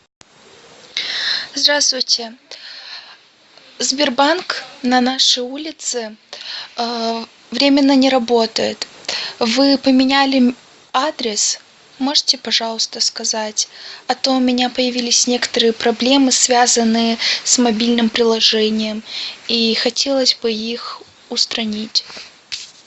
здравствуйте сбербанк на нашей улице временно не работает вы поменяли адрес можете пожалуйста сказать а то у меня появились некоторые проблемы связанные с мобильным приложением и хотелось бы их устранить